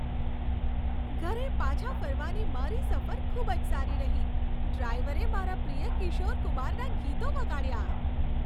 ઘરે પાછા ફરવાની મારી સફર ખૂબ જ સારી રહી. ડ્રાઈવરે મારા પ્રિય કિશોર કુમારનાં ગીતો વગાડ્યાં.